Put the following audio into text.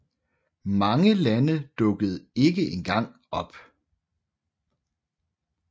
Mange lande dukkede ikke engang op